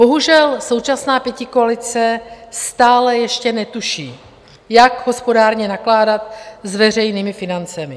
Bohužel současná pětikoalice stále ještě netuší, jak hospodárně nakládat s veřejnými financemi.